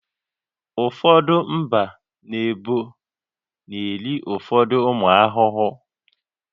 Ụfọdụ mba na ebo na-eri ụfọdụ ụmụ ahụhụ